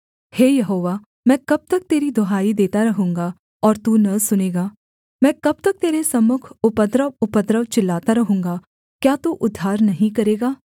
हे यहोवा मैं कब तक तेरी दुहाई देता रहूँगा और तू न सुनेगा मैं कब तक तेरे सम्मुख उपद्रव उपद्रव चिल्लाता रहूँगा क्या तू उद्धार नहीं करेगा